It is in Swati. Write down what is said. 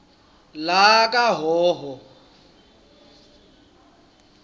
lakahhohho